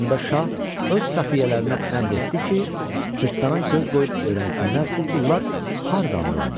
Onda şah öz xəfiyyələrinə əmr etdi ki, cırtdana göz qoyub öyrənsinlər bu pullar hardandır onda.